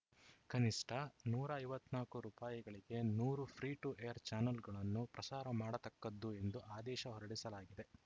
ಕನಿಷ್ಠ ನೂರ ಐವತ್ತ್ ನಾಕು ರುಪಾಯಿಗಳಿಗೆ ನೂರು ಫ್ರೀ ಟು ಏರ್‌ ಚಾಲನ್‌ಗಳನ್ನು ಪ್ರಸಾರ ಮಾಡತಕ್ಕದ್ದು ಎಂದು ಆದೇಶ ಹೊರಡಿಸಲಾಗಿದೆ